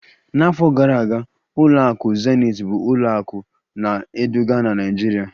N'afọ gara aga, ụlọakụ zenith bụ ụlọ akụ na-eduga na Naịjirịa